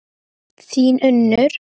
Þín, Unnur.